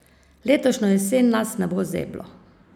Letošnjo jesen nas ne bo zeblo!